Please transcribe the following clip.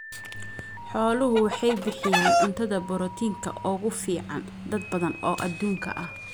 Xooluhu waxay bixiyaan cuntada borotiinka ugu fiican dad badan oo adduunka ah.